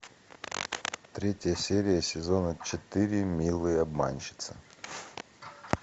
третья серия сезона четыре милые обманщицы